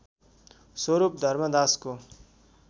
स्वरूप धर्मदासको